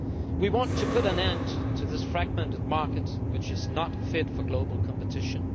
We want to put an end to this fragmented market which is not fit for global competition.